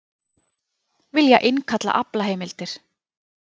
Vilja innkalla aflaheimildir